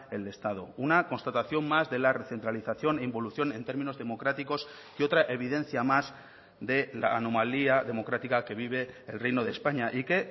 el estado una constatación más de la recentralización e involución en términos democráticos y otra evidencia más de la anomalía democrática que vive el reino de españa y que